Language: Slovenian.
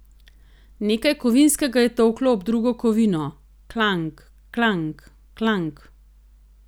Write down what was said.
Nekaj kovinskega je tolklo ob drugo kovino, klang, klang, klang.